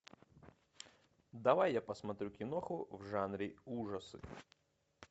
давай я посмотрю киноху в жанре ужасы